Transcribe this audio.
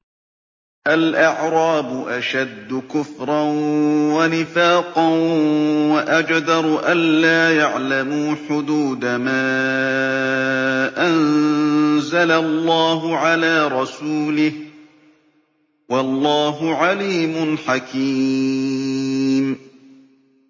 الْأَعْرَابُ أَشَدُّ كُفْرًا وَنِفَاقًا وَأَجْدَرُ أَلَّا يَعْلَمُوا حُدُودَ مَا أَنزَلَ اللَّهُ عَلَىٰ رَسُولِهِ ۗ وَاللَّهُ عَلِيمٌ حَكِيمٌ